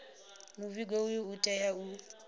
muvhigo uyu u tea u